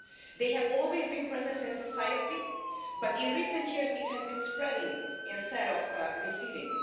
They have always been present in society, but in recent years they have been spreading instead of receding.